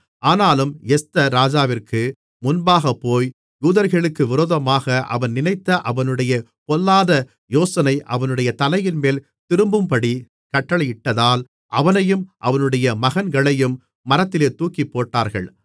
ஆனாலும் எஸ்தர் ராஜாவிற்கு முன்பாகப்போய் யூதர்களுக்கு விரோதமாக அவன் நினைத்த அவனுடைய பொல்லாத யோசனை அவனுடைய தலையின்மேல் திரும்பும்படி கட்டளையிட்டதால் அவனையும் அவனுடைய மகன்களையும் மரத்திலே தூக்கிப்போட்டார்கள்